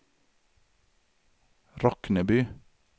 Rockneby